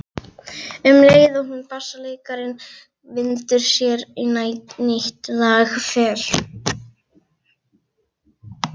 Um leið og bassaleikarinn vindur sér í nýtt lag fer